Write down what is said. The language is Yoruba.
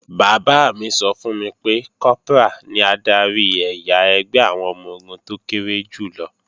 Bàbá mi sọ fún mi pé, Kọ́prà ní adarí ẹ̀yà ẹgbẹ́ àwọn ọmọ-ogun tó kéré jù lọ